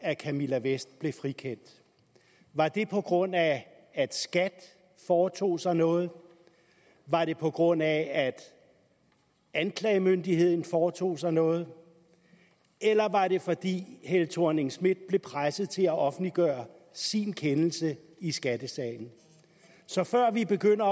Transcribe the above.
at camilla vest blev frikendt var det på grund af at skat foretog sig noget var det på grund af at anklagemyndigheden foretog sig noget eller var det fordi helle thorning schmidt blev presset til at offentliggøre sin kendelse i skattesagen så før vi begynder